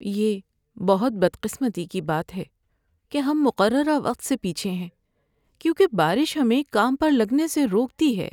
یہ بہت بدقسمتی کی بات ہے کہ ہم مقررہ وقت سے پیچھے ہیں کیونکہ بارش ہمیں کام پر لگنے سے روکتی ہے۔